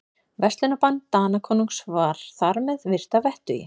Verslunarbann Danakonungs var þar með virt að vettugi.